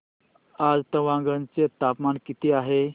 आज तवांग चे तापमान किती आहे